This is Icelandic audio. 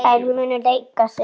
Þær munu leika sig.